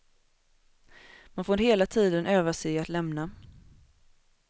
Man får hela tiden öva sig i att lämna.